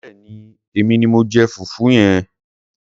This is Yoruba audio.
Béèni èmi ni mo jẹ fùfú ẹ.